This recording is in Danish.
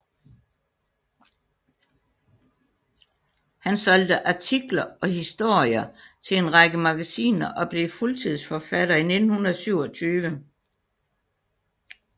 Han solgte artikler og historier til en række magasiner og blev fuldtidsforfatter i 1927